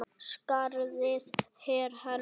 Skarðið er hennar.